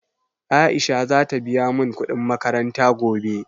Aisha za ta biya mun kuɗin makaranta gobe